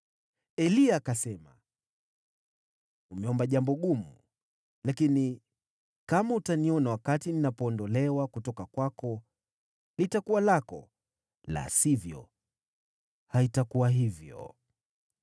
Eliya akasema, “Umeomba jambo gumu. Lakini kama utaniona wakati ninapoondolewa kutoka kwako litakuwa lako. La sivyo, hautalipata.”